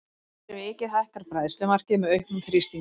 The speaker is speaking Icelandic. Fyrir vikið hækkar bræðslumarkið með auknum þrýstingi.